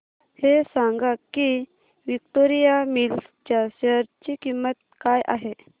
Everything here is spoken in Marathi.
हे सांगा की विक्टोरिया मिल्स च्या शेअर ची किंमत काय आहे